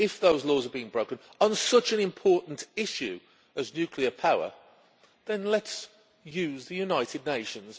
If those laws are being broken on such an important issue as nuclear power, then let us use the United Nations